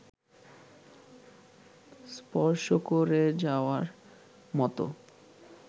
স্পর্শ-করে-যাওয়ার মতো